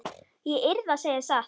Ég yrði að segja satt.